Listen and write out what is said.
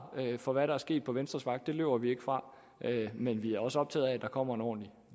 for hvad der er sket på venstres vagt løber vi ikke fra men vi er også optaget af at der kommer en ordentlig